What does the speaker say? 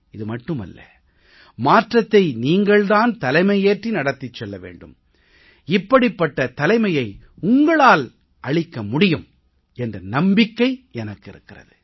இது மட்டுமல்ல மாற்றத்தை நீங்கள் தான் தலைமையேற்றி நடத்திச் செல்ல வேண்டும் இப்படிப்பட்ட தலைமையை உங்களால் அளிக்க முடியும் என்ற நம்பிக்கை எனக்கு இருக்கிறது